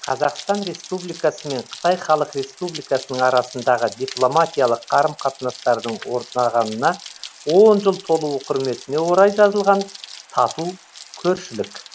қазақстан республикасы мен қытай халық республикасының арасындағы дипломатиялық қарым қатынастардың орнағанына он жыл толуы құрметіне орай жазылған тату көршілік